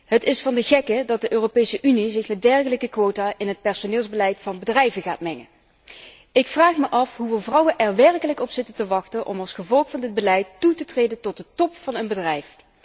Het is van de gekke dat de Europese Unie zich met dergelijke quota in het personeelsbeleid van bedrijven gaat mengen. Ik vraag me af hoeveel vrouwen er werkelijk op zitten te wachten om als gevolg van dit beleid toe te treden tot de top van een bedrijf.